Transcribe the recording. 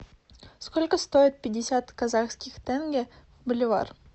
сколько стоит пятьдесят казахских тенге боливар